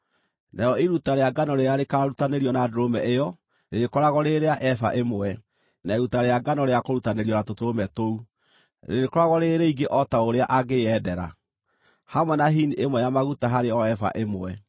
Narĩo iruta rĩa ngano rĩrĩa rĩakũrutanĩrio na ndũrũme ĩyo rĩrĩkoragwo rĩrĩ rĩa eba ĩmwe, na iruta rĩa ngano rĩa kũrutanĩrio na tũtũrũme tũu rĩrĩkoragwo rĩrĩ rĩingĩ o ta ũrĩa angĩyendera, hamwe na hini ĩmwe ya maguta harĩ o eba ĩmwe.